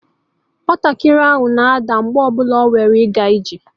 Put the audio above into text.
Nwatakịrị ahụ na-ada mgbe ọ bụla ọ nwara ịga ije